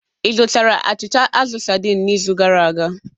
Ị zụtara achịcha azụ saidin n'izu gara aga?